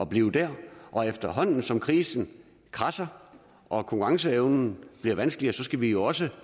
bliver der og efterhånden som krisen kradser og konkurrenceevnen bliver vanskeligere så skal vi jo også